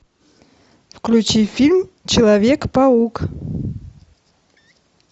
включи фильм человек паук